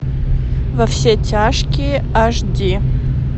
во все тяжкие аш ди